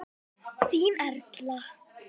Þín, Erla.